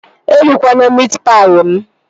E rikwana miit paị mụ!